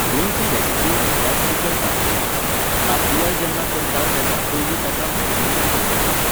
गोंयची रेसिपी म्हटल्यार चिकन काफ्रियाल. काफ्रियाल जेन्ना करता तेन्ना पयलीं ताका मेरिनेशन करचें पडटा.